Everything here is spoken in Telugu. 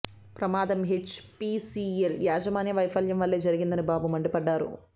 ప్రమాదం హెచ్ పీసీఎల్ యాజమాన్య వైఫల్యం వల్లే జరిగిందని బాబు మండిపడ్డారు